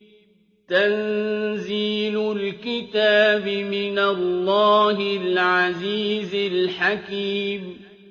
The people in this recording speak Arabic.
تَنزِيلُ الْكِتَابِ مِنَ اللَّهِ الْعَزِيزِ الْحَكِيمِ